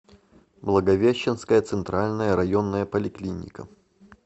благовещенская центральная районная поликлиника